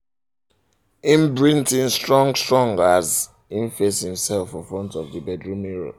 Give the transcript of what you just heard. im breath um in strong strong as im face imself um for um front of the bedroom mirror